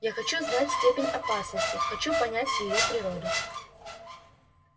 я хочу знать степень опасности хочу понять её природу